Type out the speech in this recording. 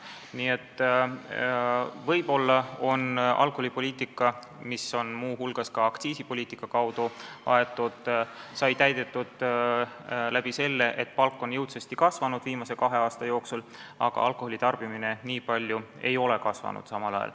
Nii et võib-olla on alkoholipoliitika, mida on muu hulgas aktsiisipoliitika kaudu aetud, oma eesmärgid täitnud seetõttu, et palk on viimase kahe aasta jooksul jõudsasti kasvanud, aga alkoholi tarbimine ei ole samal ajal nii palju kasvanud.